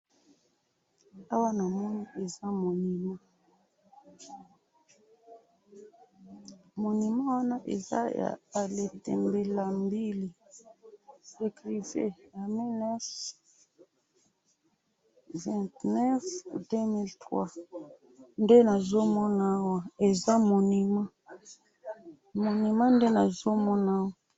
Awa namoni eza monument ,monument wana eza ya A.Letembe AMBILY ecrivain en 1929-2003 ,nde nazo mona awa, eza monument .monument nde nazo mona awa